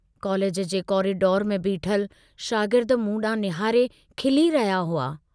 College जे corridor में बीठल शागिर्द मूं डांहु निहारे खिली रहिया हुआ।